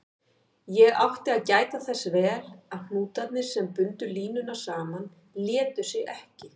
Ég átti að gæta þess vel að hnútarnir, sem bundu línuna saman, létu sig ekki.